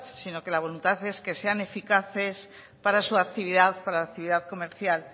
sino que la voluntad es que sean eficaces para su actividad para la actividad comercial